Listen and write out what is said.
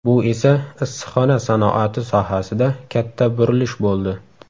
Bu esa, issiqxona sanoati sohasida katta burilish bo‘ldi.